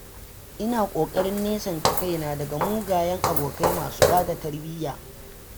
Ina ƙoƙarin nesanta kaina daga mugayen abokai masu bata tarbiyya.